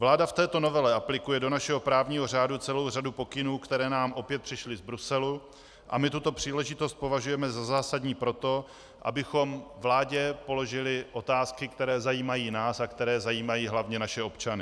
Vláda v této novele aplikuje do našeho právního řádu celou řadu pokynů, které nám opět přišly z Bruselu, a my tuto příležitost považujeme za zásadní proto, abychom vládě položili otázky, které zajímají nás a které zajímají hlavně naše občany.